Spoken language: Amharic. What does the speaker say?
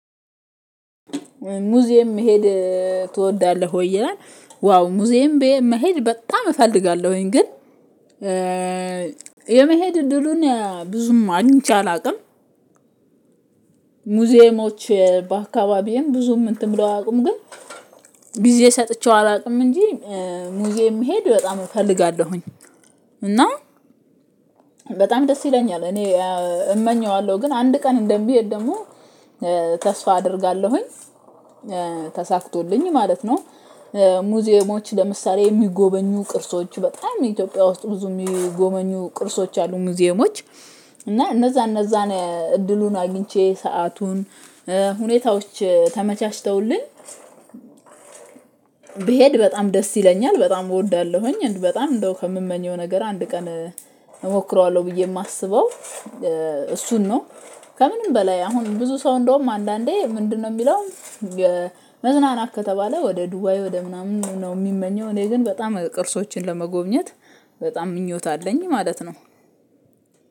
ሙዚየም መሄድ ትወዳለህ ወይ ይላል? ዋው ሙዚየም መሄድ በጣም እፈልጋለሁኝ ግን የመሄድ እድሉን ብዙም አግኝቸ አላውቅም። ሙዚየሞች በአካባቢዬም ብዙም እንትን ብለው አያውቁም ግን ጊዜ ሰጥቼው አላውቅም። እንጂ ሙዚየም እሄድ በጣም እፈልጋለሁኝ እና በጣም ደስ ይለኛል። እኔ እመኘዋለሁ ግን አንድ ቀን እንደምሄድ ደግሞ ተስፋ አደርጋለሁኝ ተሳክቶልኝ ማለት ነው። ሙዚየሞች ለምሳሌ የሚጎበኙ ቅርሶች በጣም ኢትዮጵያ ውስጥ ብዙ የሚጎመኙ ቅርሶች አሉ። ሙዚየሞች እና እነዛ እነዛን እድሉን አግኝቼ ሰአቱን ሁኔታዎች ተመቻችተውልኝ ብሄድ በጣም ደስ ይለኛል በጣም እወዳለሁኝ። በጣም እንደው ከምመኘው ነገር አንድ ቀን እሞክረዋለሁ ብዬ የማስበው እሱን ነው። ከምንም በላይ አሁን ብዙ ሰው እንደውም አንዳንዴ ምንድነው? የሚለው መዝናናት ከተባለ ወደ ዱባይ ወደ ምናምን ነው የሚመኘው። እኔ ግን በጣም ቅርሶችን ለመጎብኘት በጣም ምኞት አለኝ ማለት ነው።